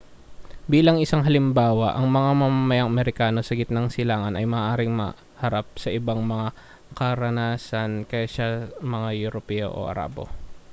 bilang isang halimbawa ang mga mamamayang amerikano sa gitnang silangan ay maaaring maharap sa ibang mga karanasan kaysa mga europeo o arabo